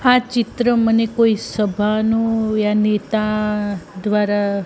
આ ચિત્ર મને કોઈ સભાનુ યાનિ તાં દ્વારા--